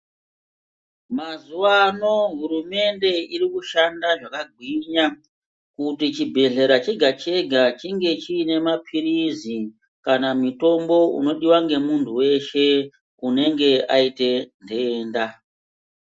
Mazuva ano hurumende irikushanda zvakagwinya kuti chibhedhlera chega chega chinge chiine mapirizi kana mutombo unodiwa ngemuntu weshe unenge aite ntenda.